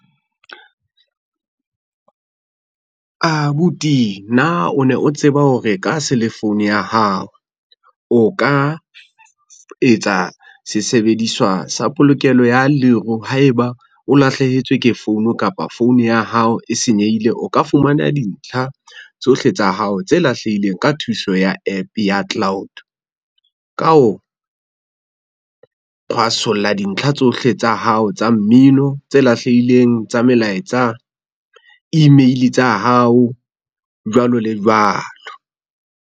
Abuti na o ne o tseba hore ka selefounu ya hao, o ka etsa sesebediswa sa polokelo ya leru haeba o lahlehetswe ke founu kapa founu ya hao e senyehile, o ka fumana dintlha tsohle tsa hao tse lahlehileng ka thuso ya app ya cloud. Ka ho, kgwasolla dintlha tsohle tsa hao tsa mmino tse lahlehileng tsa melaetsa, email tsa hao, jwalo le jwalo.